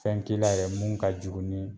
Fɛn k'i la yɛrɛ mun ka jugu ni